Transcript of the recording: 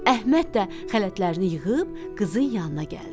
Əhməd də xələtlərini yığıb qızın yanına gəldi.